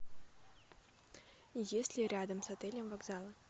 есть ли рядом с отелем вокзалы